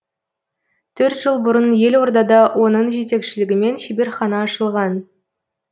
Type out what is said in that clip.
төрт жыл бұрын елордада оның жетекшілігімен шеберхана ашылған